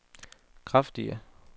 kraftige